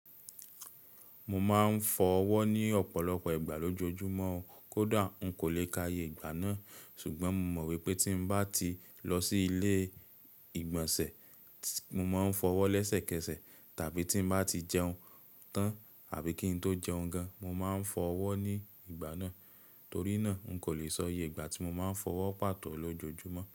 Mo máa ń fọ ọwọ́ ní ọ̀pọ̀lọpọ̀ ìgbà lójoojúmọ́ ó kódà n kò lè káaye ìgbà náà ṣùgbọ́n mo mọ̀ wípé tí bá ti lọ sí ilé ìgbọ̀nsẹ̀, mo máa ń fọ ọwọ́ lẹ́sẹ̀kẹsẹ̀ tàbí tí bá ti jẹun tán àbí kí n tó jẹun gan, mo máa ń fọ ọwọ́ ní ìgbà náà torí náà n kò lè sọ iye ìgbà tí mo máa ń fọ ọwọ́ pàtó lójoojúmọ́